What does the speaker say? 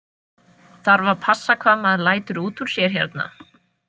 Þarf að passa hvað maður lætur út úr sér hérna?